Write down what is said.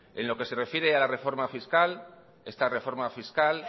en lo que se refiere a la reforma fiscal esta reforma fiscal